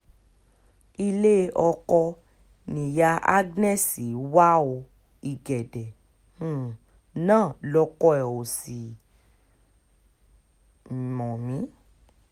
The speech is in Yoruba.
ilé ọkọ̀ nìyáa agnès wá o ìgédé um náà lọkọ ẹ̀ ò sì mọ̀ um mí